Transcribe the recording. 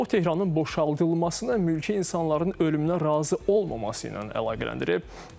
O Tehranın boşaldılmasına mülki insanların ölümünə razı olmaması ilə əlaqələndirib.